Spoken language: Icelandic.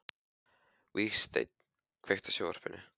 Vígsteinn, kveiktu á sjónvarpinu.